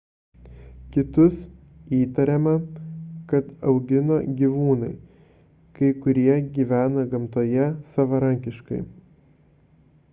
kitus įtariama kad augino gyvūnai kai kurie gyveno gamtoje savarankiškai